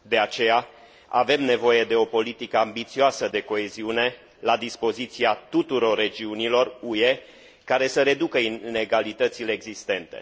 De aceea, avem nevoie de o politică ambițioasă de coeziune la dispoziția tuturor regiunilor UE, care să reducă inegalitățile existente.